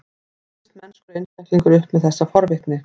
Kæmist mennskur einstaklingur upp með þessa forvitni?